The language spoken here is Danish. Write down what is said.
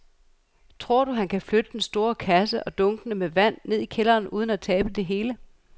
Tror du, at han kan flytte den store kasse og dunkene med vand ned i kælderen uden at tabe det hele?